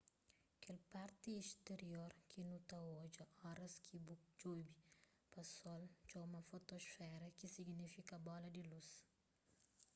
kel parti sterior ki nu ta odja oras ki ku djobe pa sol txoma fotosfera ki signifika bola di lus